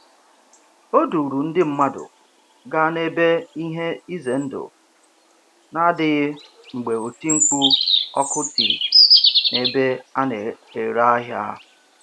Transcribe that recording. O duuru ndị mmadụ gaa n'ebe ihe ize ndụ na-adịghị mgbe oti mkpu ọkụ tiri n'ebe a na-ere ahịa.